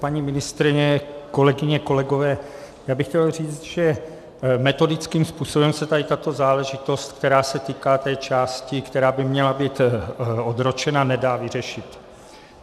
Paní ministryně, kolegyně, kolegové, já bych chtěl říct, že metodickým způsobem se tady tato záležitost, která se týká té části, která by měla být odročena, nedá vyřešit.